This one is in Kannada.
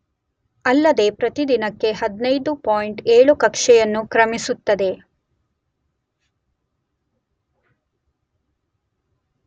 ಅಲ್ಲದೇ ಪ್ರತಿ ದಿನಕ್ಕೆ 15.7 ಕಕ್ಷೆಯನ್ನು ಕ್ರಮಿಸುತ್ತದೆ.